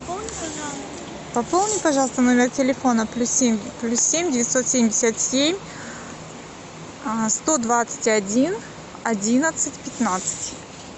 пополни пожалуйста номер телефона плюс семь плюс семь девятьсот семьдесят семь сто двадцать один одиннадцать пятнадцать